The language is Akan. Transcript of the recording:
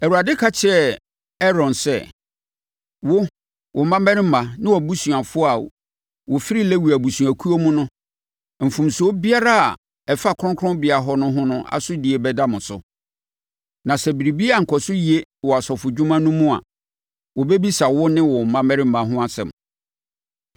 Awurade kasa kyerɛɛ Aaron sɛ, “Wo, wo mmammarima ne wʼabusuafoɔ a wɔfiri Lewi abusuakuo mu no, mfomsoɔ biara a ɛfa kronkronbea hɔ no ho asodie bɛda mo so. Na sɛ biribi ankɔ so yie wɔ asɔfodwuma no mu a, wɔbɛbisa wo ne wo mmammarima ho asɛm.